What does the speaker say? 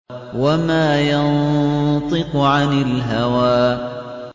وَمَا يَنطِقُ عَنِ الْهَوَىٰ